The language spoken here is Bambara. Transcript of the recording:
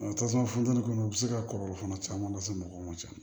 tasuma funtɛni kɔnɔ u bi se ka kɔlɔlɔ fana caman lase mɔgɔw ma ten